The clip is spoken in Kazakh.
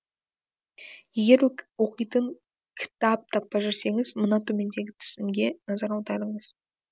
егер оқитын кітап таппай жүрсеңіз мына төмендегі тізімге назар аударыңыз